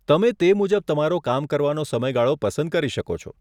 તમે તે મુજબ તમારો કામ કરવાનો સમયગાળો પસંદ કરી શકો છો.